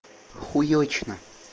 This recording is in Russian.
хуёчно